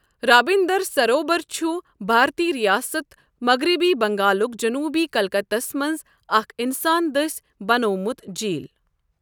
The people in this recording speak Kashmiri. رابِنٛدَر سروبَر چھُ بھارتی رِیاسَت مغربی بنٛگالُک جنوٗبی کلکتَس منٛز اکھ اِنسان دٔسۍ بنٛیوٚومُت جِیٖل۔